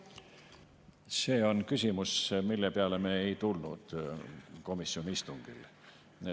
See on küsimus, mille peale me ei tulnud komisjoni istungil.